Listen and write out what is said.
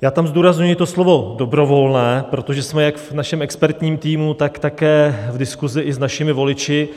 Já tam zdůrazňuji to slovo dobrovolné, protože jsme jak v našem expertním týmu, tak také v diskusi i s našimi voliči